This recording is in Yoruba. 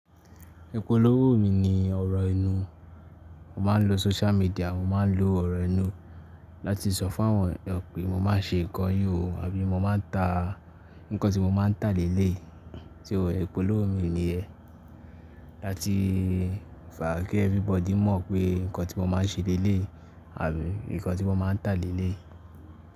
Ipòlówó mi ni ọ̀rọ̀ ẹnu. Mo máa ń lo social media, mo máa ń lo ọ̀rọ̀ ẹnu láti sọ fún àwọn èèyàn pé mo máa ń ṣe nǹkan yìí ò, àbí mo máa ń ta nǹkan tí mo máa ń tà lélé. Ti ó, ipólówó mi ni yen láti fàá kí everybody mọ̀ pé nǹkan tí mo máa ń ṣe léléyi àbí nǹkan tí mo máa ń tà léléyi.